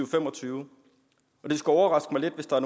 fem og tyve og det skulle overraske mig lidt hvis der